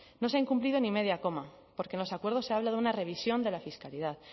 no se ha incumplido ni media coma porque en los acuerdos se habla de una revisión de la fiscalidad